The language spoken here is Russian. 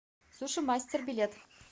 суши мастер билет